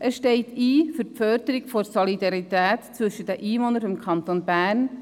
Er steht ein für die Förderung der Solidarität zwischen den Einwohnern des Kantons Bern.